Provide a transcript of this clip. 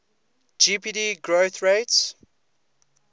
gdp growth rates